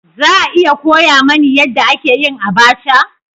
Za a iya koya mani yadda ake yin abacha?